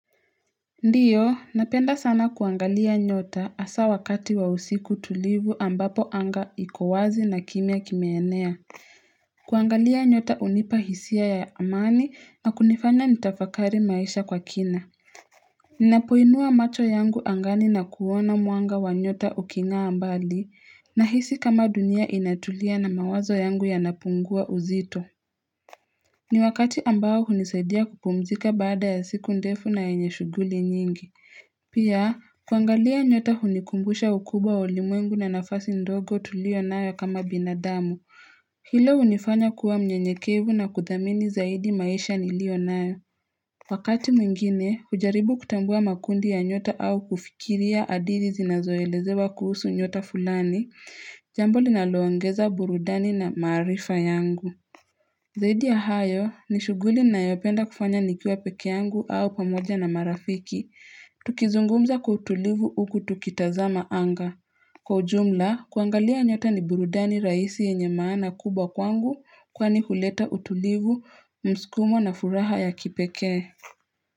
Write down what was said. Ndiyo, napenda sana kuangalia nyota asa wakati wa usiku tulivu ambapo anga iko wazi na kimya kimeenea kuangalia nyota unipa hisia ya amani na kunifanya nitafakari maisha kwa kina Ninapoinua macho yangu angani na kuona mwanga wa nyota uking'aa mbali nahisi kama dunia inatulia na mawazo yangu yana pungua uzito ni wakati ambao hunisaidia kupumzika baada ya siku ndefu na enye shuguli nyingi Pia, kuangalia nyota hunikumbusha ukubwa wa ulimwengu na nafasi ndogo tulio nayo kama binadamu. Hilo hunifanya kuwa mnyenyekevu na kuthamini zaidi maisha nilio nayo. Ni wakati ambao hunisaidia kupumzika baada ya siku ndefu na enye shuguli nyingi Zaidi ya hayo ni shughuli nayopenda kufanya nikiwa pekeangu au pamoja na marafiki. Tukizungumza kwa utulivu uku tukitazama anga. Kwa ujumla, kuangalia nyota ni burudani rahisi yenye maana kubwa kwangu kwani huleta utulivu, msukumo na furaha ya kipekee.